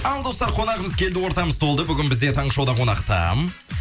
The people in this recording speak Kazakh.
ал достар қонағымыз келді ортамыз толды бүгін бізде таңғы шоуда қонақта